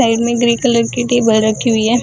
Side में grey colour की table रखी हुई है।